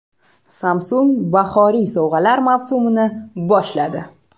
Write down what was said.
Samsung bahoriy sovg‘alar mavsumini boshladi.